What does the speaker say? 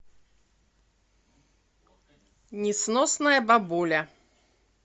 несносная бабуля